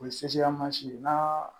O ye mansin ye n'a